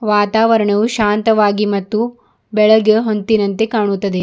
ವಾತಾವರಣವು ಶಾಂತವಾಗಿ ಮತ್ತು ಬೆಳೆಗೆ ಹೊಂತ್ತಿನಂತೆ ಕಾಣುತ್ತದೆ.